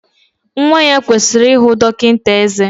Nwa ya kwesịrị ihụ dọkịta ezé